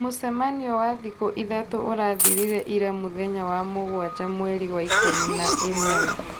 Mũcemanio wa thikũ ithatũ ũrathirire ira mũthenya wa mũgwaja mweri wa ikũmi na ĩmwe